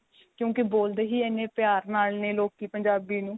ਕਿਉਂਕਿ ਬੋਲਦੇ ਹੀ ਇੰਨੇ ਪਿਆਰ ਨਾਲ ਨੇ ਲੋਕੀ ਪੰਜਾਬੀ ਨੂੰ